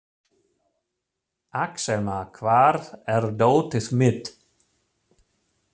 Axelma, hvar er dótið mitt?